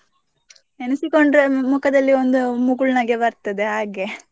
ನೆನೆಸಿಕೊಂಡರೆ ಮುಖದಲ್ಲಿ ಒಂದು ಮುಗುಳ್ ನಗು ಬರ್ತದೆ ಹಾಗೆ.